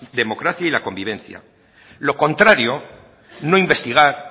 democracia y la convivencia lo contrario no investigar